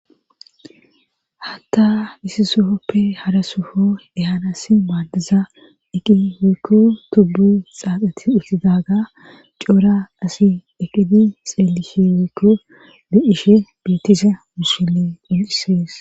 Hatta isi sohoppe harasufo ehanas maadaza eqi wikku tubbu xaaxati uttidaaga coora asi eqqidi xeelishi wiikku be ishe beetisa musille xunxisees.